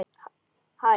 Hann var mát.